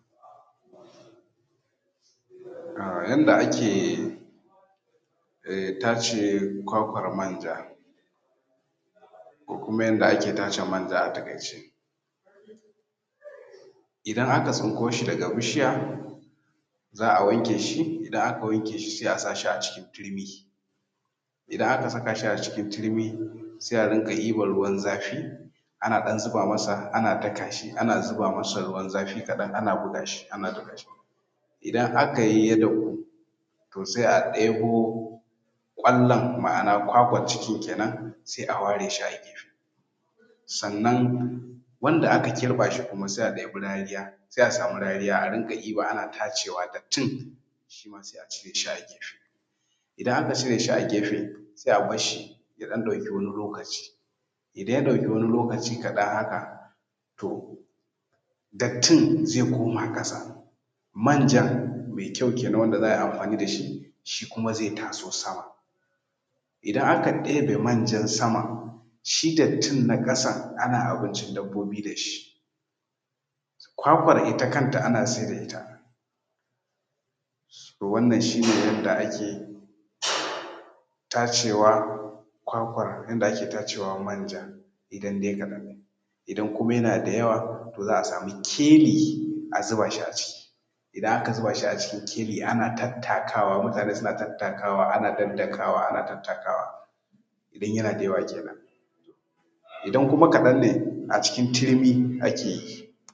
Yanda ake tatsan nonon akuya. Ana tatsan nonon akuya me jego ne ma’ana akuyan da ta haihu ba da jimawa ba, za a iya ba ta abinci da daddare idan ta kwana ta ɗan ci abinci washegari nono ya taru, a ɗaure kafanta na gaba a samu wani kofi ko roba a wanke shi se a zo a kama bakin nonon ana ɗan matsawa, ana ja nonon yana shiga cikin wannan roban da ake tara da shi ana matsawa ana ja, madaran ze dinga shiga idan ba ka ja guda ɗaya za a iya komawa ɗayan ma tun da ɗayan tana da nono guda biyu ne; shi ma ana matsa shi ana ja in aka dauki nonon se aje a samu tukunya a zuba a hura wuta a daora tukunya a dafa. Nono ya dahu abun da ya sa ake dafa su saboda guje ma wasu cututtuka da wannan akuyan take da ke da shi idan ka ɗauki nonon akuya da take da ciwo da take da wani cuta to mutum yana iya kamuwa da shi to saboda gujewan haka shi ne za a dafa shi a yi amfan da shi amma wasu kuma sukan iya amfani da shi ɗanyensa ba tare da an dafa shi ba to wannan shi ne a taƙaice yanda ake ɗaukan nonon akuya kuma ake amfani da shi.